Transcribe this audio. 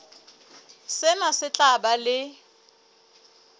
sena se tla ba le